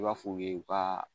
I b'a f'u ye u ka